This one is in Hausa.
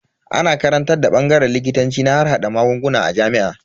Ana karantar bangaren likitanci na harhada magunguna a jami'a.